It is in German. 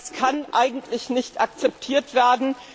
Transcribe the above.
Das kann eigentlich nicht akzeptiert werden.